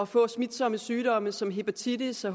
få smitsomme sygdomme som hepatitis og